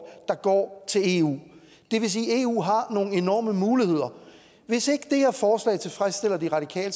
der går til eu det vil sige at eu har nogle enorme muligheder hvis ikke det her forslag tilfredsstiller de radikale